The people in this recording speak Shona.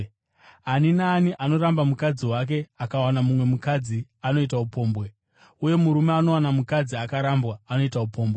“Ani naani anoramba mukadzi wake akawana mumwe mukadzi anoita upombwe, uye murume anowana mukadzi akarambwa anoita upombwe.